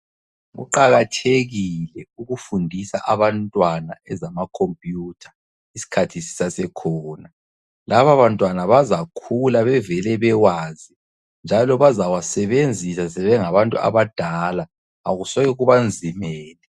Kuqakathekile ukufundisa abantwana ezama computer isikhathi sisasekhona. Laba bantwana bazakhula bevele bewazi njalo bazawasebenzisa sebengabantu abadala. Akusoke kubanzimele.